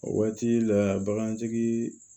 O waati la bagantigi